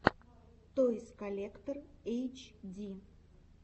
тойс коллектор эйч ди